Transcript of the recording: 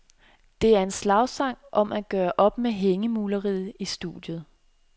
Det er en slagsang om at gøre op med hængemuleriet i studiet.